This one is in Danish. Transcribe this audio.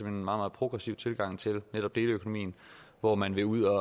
meget progressiv tilgang til netop deleøkonomien hvor man vil ud